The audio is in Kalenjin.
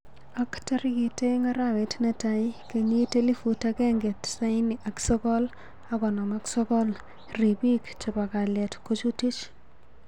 Ak tarikit aeng arawet netai kenyit elifut akenge tisani ak sogol ak konom ak sogol, ribik chebo kallet kojutich